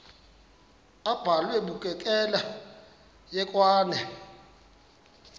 abhalwe bukekela hekwane